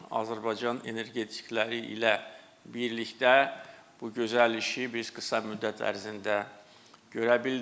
Azərbaycan energetikləri ilə birlikdə bu gözəl işi biz qısa müddət ərzində görə bildik.